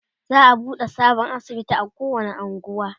za'a buɗe sabon asibiti a kowani unguwa